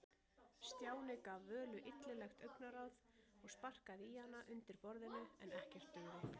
Stjáni gaf Völu illilegt augnaráð og sparkaði í hana undir borðinu, en ekkert dugði.